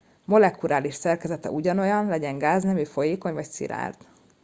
molekuláris szerkezete ugyanolyan legyen gáznemű folyékony vagy szilárd